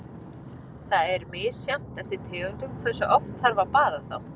Það er misjafnt eftir tegundum hversu oft þarf að baða þá.